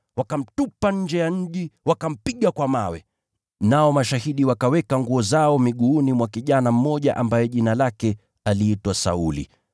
Wakamtupa nje ya mji, wakampiga kwa mawe. Nao mashahidi wakaweka mavazi yao miguuni mwa kijana mmoja ambaye jina lake aliitwa Sauli.